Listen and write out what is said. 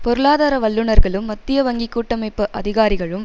பொருளாதார வல்லுனர்களும் மத்திய வங்கி கூட்டமைப்பு அதிகாரிகளும்